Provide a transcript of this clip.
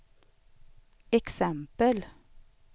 exempel